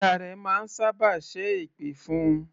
Ìyá rẹ máa sábà ṣẹ́ èpè fún un.